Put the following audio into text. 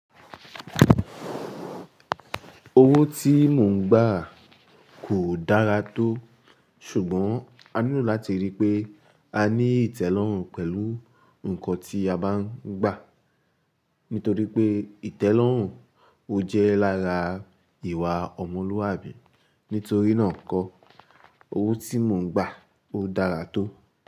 Owó tí mò ń gbà kò dára tó, ṣùgbọ́n a nílò láti ríi pé a ní ìtẹ́lọ́rùn pẹ̀lú nǹkan tí a bá ń gbà. Nítorí pé ìtẹ́lọ́rùn o jẹ́ lára ìwà ọmọlúwàbí. Nítorí náà nkọ́ owó tí mò ń gbà o dára tó.